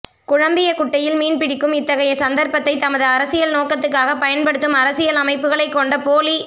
குழம்பிய குட்டையில் மீன்பிடிக்கும் இத்தகைய சந்தர்ப்பத்தை தமது அரசியல் நோக்கத்துக்காகப் பயன்படுத்தும் அரசியல் அமைப்புக்களைக்கொண்ட போலி